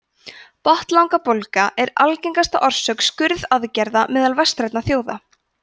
botnlangabólga er algengasta orsök skurðaðgerða meðal vestrænna þjóða